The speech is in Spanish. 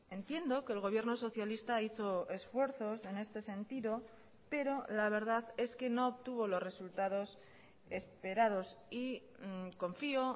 entiendo que el gobierno socialista hizo esfuerzos en este sentido pero la verdad es que no obtuvo los resultados esperados y confío